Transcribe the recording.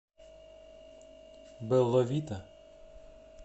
белла вита